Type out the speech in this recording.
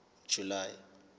july